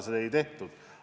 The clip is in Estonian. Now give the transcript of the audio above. Seda ei tehtud.